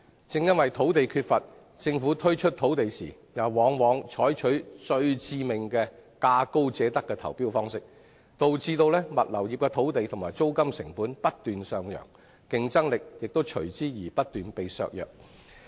即使土地缺乏，政府推出土地時卻往往採取最致命的價高者得投標方式，導致物流業的土地及租金成本不斷上揚，競爭力亦因而不斷削弱。